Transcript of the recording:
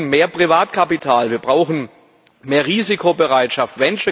Wir brauchen mehr Privatkapital. Wir brauchen mehr Risikobereitschaft.